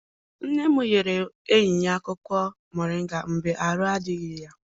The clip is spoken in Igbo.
Nne m nyere enyi ya akwụkwọ moringa mgbe arụ adịghị ya.